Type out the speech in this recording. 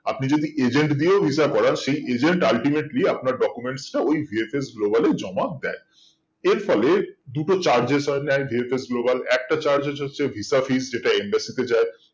আপনি যদি agent দিয়েও visa করান সেই agent ultimately আপনার documents টা ওই VFS Global এ জমা দেয় এর ফলে দুটো charge এস হয় নেই VFS Global একটা charge এস হচ্ছে visa fees যেটা embassy তে যাই